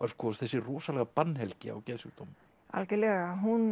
þessi rosalega bannhelgi á geðsjúkdómum algjörlega